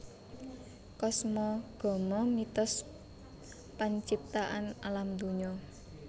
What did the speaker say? Kosmogomo mitos panciptaan Alam dunya